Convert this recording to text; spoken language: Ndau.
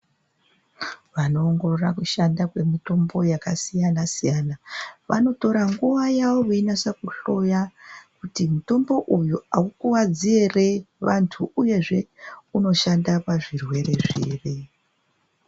Vanoongorora kushanda kwemitombo yakasiyana siyana vanotora nguwa yavo veinase kuhloya kuti mutombo uyu aukuvadzi ere vantu uyezve unoshanda pazvirwere zviri.